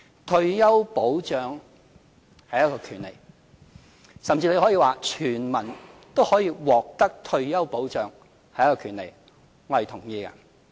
退休保障是權利，甚至可以說，全民都可以獲得退休保障是權利，我是同意的。